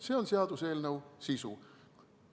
See on seaduseelnõu sisu.